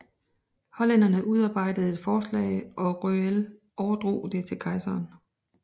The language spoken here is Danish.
Hollænderne udarbejdede et forslag og Röell overdrog det til kejseren